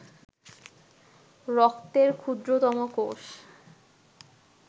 রক্তের ক্ষুদ্রতম কোষ